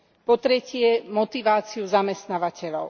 Po tretie, motiváciu zamestnávateľov.